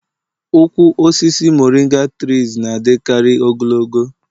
ụkwụ osisi moringa tress na-adịkarị ogologo